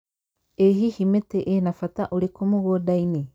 ĩ hihi mĩtĩ ĩna mbata ũrĩkũ mũgũndainĩ